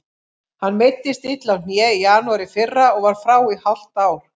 Hann meiddist illa á hné í janúar í fyrra og var frá í hálft ár.